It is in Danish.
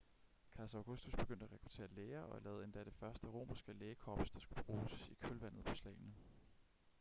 kejser augustus begyndte at rekruttere læger og lavede endda det første romerske lægekorps der skulle bruges i kølvandet på slagene